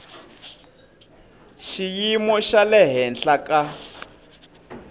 xiyimo xa le henhla ka